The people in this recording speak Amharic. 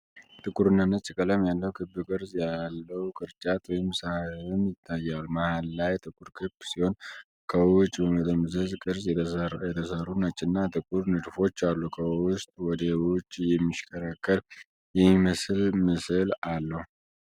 ጥቁርና ነጭ ቀለም ያለው ክብ ቅርጽ ያለው ቅርጫት ወይም ሳህን ይታያል። መሃል ላይ ጥቁር ክብ ሲሆን፣ ከውጭ በመጠምዘዝ ቅርጽ የተሰሩ ነጭና ጥቁር ንድፎች አሉ። ከውስጥ ወደ ውጭ የሚሽከረከር የሚመስል ምስል አለው።